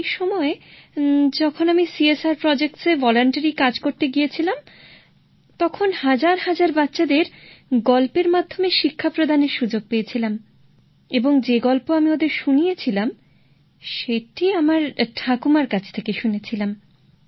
সেই সময় যখন আমি সিএসআর প্রকল্পে স্বেচ্ছাসেবকের কাজ করতে গিয়েছিলাম তখন হাজার হাজার বাচ্চাদের গল্পের মাধ্যমে শিক্ষাদানের সুযোগ পেয়েছিলাম এবং যে গল্প আমি ওদের শুনিয়েছিলাম সেটি আমি আমার ঠাকুমার থেকে শুনেছিলাম